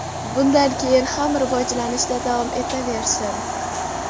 bundan keyin ham rivojlanishda davom etaversin.